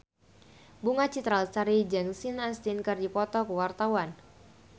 Bunga Citra Lestari jeung Sean Astin keur dipoto ku wartawan